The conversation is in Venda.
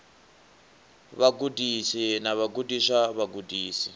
ha vhagudisi na vhagudiswa vhagudisi